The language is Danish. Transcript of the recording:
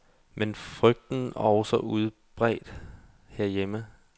Men frygten også udbredt herhjemme.